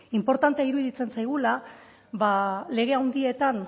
inportantea iruditzen zaigula ba lege handietan